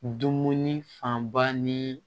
Dumuni fanba ni